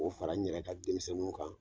K'o fara n yɛrɛ ka denmisɛnninw kan